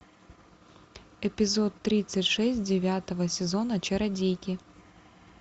эпизод тридцать шесть девятого сезона чародейки